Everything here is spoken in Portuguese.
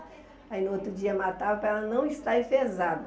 Aí, no outro dia, matava para ela não estar enfesada.